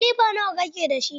Kilifa nawa kake dashi?